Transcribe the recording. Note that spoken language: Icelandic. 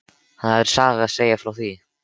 Það er saga að segja frá því.